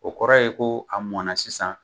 O kɔrɔ ye ko a mɔnna sisan,